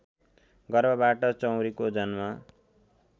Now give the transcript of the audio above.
गर्भबाट चौँरीको जन्म